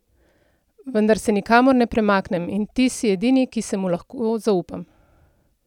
Vendar se nikamor ne premaknem, in ti si edini, ki se mu lahko zaupam.